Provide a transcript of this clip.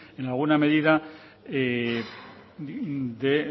en alguna medida de